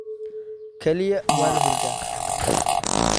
Kaliya waan hurdaa